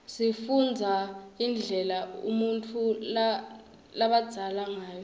sifunbza indlela unutfu labzaleke ngayo